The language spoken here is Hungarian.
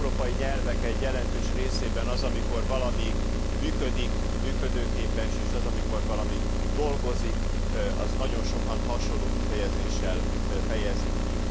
Az európai nyelvek egy jelentős részében azt, amikor valami működik működőképes és azt, amikor valami dolgozik, nagyon sokan hasonló kifejezéssel fejezik ki.